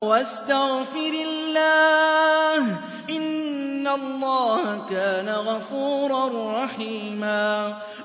وَاسْتَغْفِرِ اللَّهَ ۖ إِنَّ اللَّهَ كَانَ غَفُورًا رَّحِيمًا